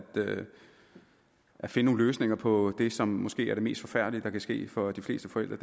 finde nogle løsninger på det som måske er det mest forfærdelige der kan ske for de fleste forældre